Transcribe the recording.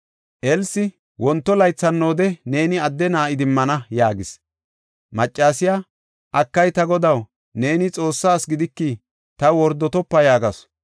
Elsi, “Wonto laythi hannoode neeni adde na7a idimmana” yaagis. Maccasiya, “Akay, ta godaw, neeni Xoossaa asi gidiki, taw wordotopa” yaagasu.